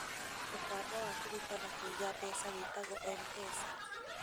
Mũtambo wa kũruta na kũiga mbeca wĩtwagwo MPESA